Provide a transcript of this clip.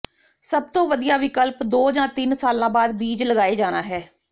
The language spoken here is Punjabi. ਸਭ ਤੋਂ ਵਧੀਆ ਵਿਕਲਪ ਦੋ ਜਾਂ ਤਿੰਨ ਸਾਲਾਂ ਬਾਅਦ ਬੀਜ ਲਗਾਏ ਜਾਣਾ ਹੈ